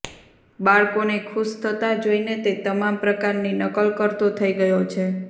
બાળકોને ખુશ થતાં જોઈને તે તમામ પ્રકારની નકલ કરતો થઈ ગયો